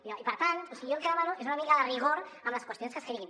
i per tant o sigui jo el que demano és una mica de rigor amb les qüestions que escriguin